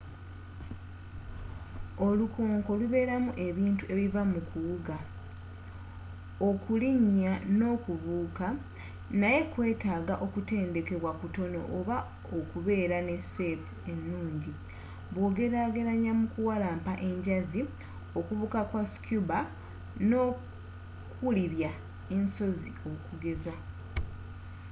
olukonko lubeeramu ebintu ebiva mu kuwuga okulinnya nokubuuka—naye kwetaaga okutendekebwa kutono oba okubeera ne seepu ennungi bwogerageranya mukuwalampa enjazi okubuuka kwa scuba nokulibbya ensozi okugeza